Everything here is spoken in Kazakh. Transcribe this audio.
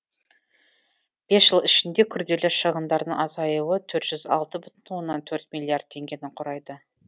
бес жыл ішінде күрделі шығындардың азаюы төр жүз алты бүтін оннан төрт миллиард теңгені құрайды